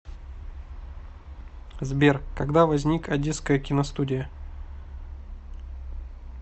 сбер когда возник одесская киностудия